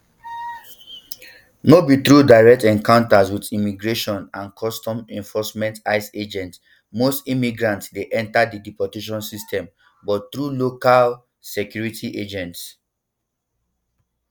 no be through direct encounters wit immigration and customs enforcement ice agents most immigrants um dey enta di deportation system but through local um um security agents